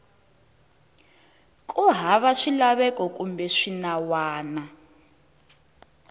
ku hava swilaveko kumbe swinawana